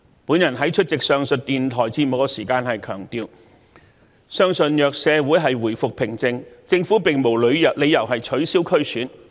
我在出席上述電台節目時強調，相信若社會回復平靜，政府並無理由取消區議會選舉。